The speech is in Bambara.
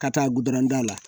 Ka taa gudɔrɔn da la